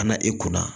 Ka na i kunna